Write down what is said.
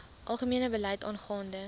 algemene beleid aangaande